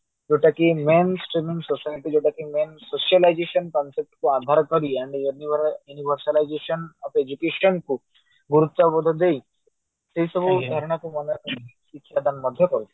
ଯୋଉ ଟା କି men society ଯୋଉଟା କି main socialisation concept କୁ avoid କରି ଆମେ ଯଦି ମାନେ of education କୁ ଗୁରୁତ୍ୟବୋଧ ଦେଇ ସେଇସବୁ ଶିକ୍ଷାଦାନ ମଧ୍ୟ ଦଉ